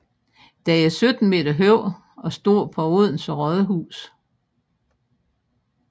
Den er 17 m høj og står på Odense Rådhus